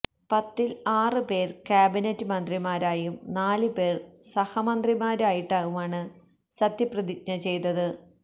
പത്തില് ആറ് പേര് കാബിനറ്റ് മന്ത്രിമാരായും നാല് പേര് സഹമന്ത്രിമാരായിട്ടുമാണ് സത്യപ്രതിജ്ഞ ചെയ്തത്